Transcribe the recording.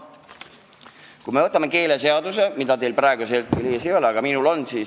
Võtame lahti keeleseaduse, mida teil praegu ees ei ole, aga minul on.